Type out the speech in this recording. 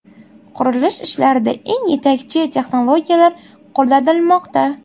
Qurilish ishlarida eng yetakchi texnologiyalar qo‘llanilmoqda.